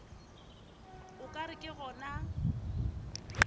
o ka re ke gona